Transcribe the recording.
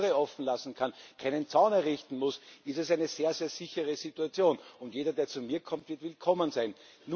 Wenn ich die Türe offen lassen kann, keinen Zaun errichten muss, ist es eine sehr sichere Situation, und jeder, der zu mir kommt, wird willkommen sein.